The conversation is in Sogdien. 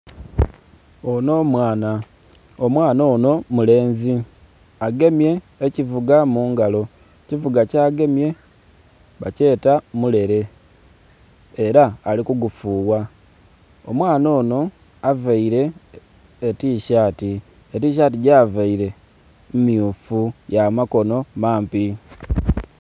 Onho mwaana omwaana onho mulenzi agemye ekyivuga mungalo ekyivuga kyagwemye bakyeta mulere era alikugufugha. Omwaana onho avaire etishati, etishati gyavaire myufu yamakonho mampi